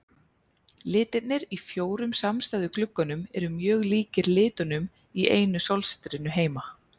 Litirnir í fjórum samstæðu gluggunum eru mjög líkir litunum í einu sólsetrinu heima.